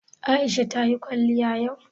Aisha ta yi kwaliya yau?